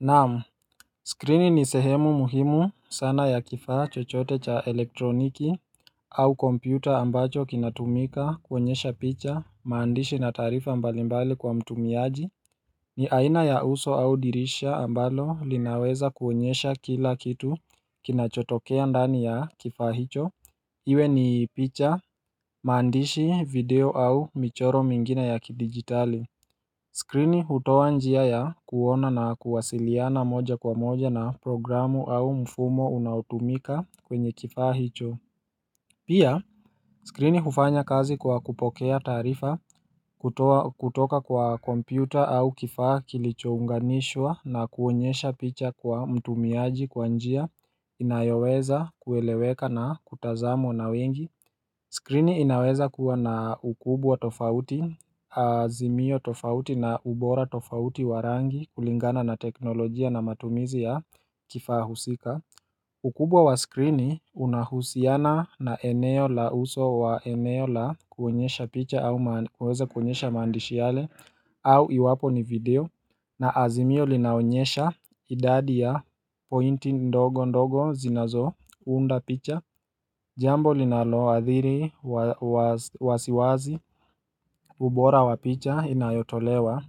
Nam skrini ni sehemu muhimu sana ya kifaa chochote cha elektroniki au kompyuta ambacho kinatumika kuonyesha picha maandishi na taarifa mbalimbali kwa mtumiaji ni aina ya uso au dirisha ambalo linaweza kuonyesha kila kitu kinachotokea ndani ya kifaa hicho Iwe ni picha maandishi video au michoro mengine ya kidigitali skrini hutoa njia ya kuona na kuwasiliana moja kwa moja na programu au mfumo unaotumika kwenye kifaa hicho Pia skrini hufanya kazi kwa kupokea taarifa kutoka kwa kompyuta au kifaa kilichounganishwa na kuonyesha picha kwa mtumiaji kwa njia inayoweza kueleweka na kutazamo na wengi skrini inaweza kuwa na ukubwa tofauti, azimio tofauti na ubora tofauti wa rangi kulingana na teknolojia na matumizi ya kifaa husika ukubwa wa skrini unahusiana na eneo la uso wa eneo la kuonyesha picha au kuweza kuonyesha maandishi yale au iwapo ni video na azimio linaonyesha idadi ya pointi ndogo ndogo zinazounda picha Jambo linaloadhiri wasiwasi ubora wapicha inayotolewa